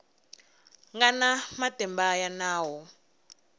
nga na matimba ya nawu